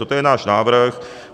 Toto je náš návrh.